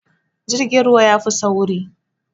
Jirgin ruwa yafi sauri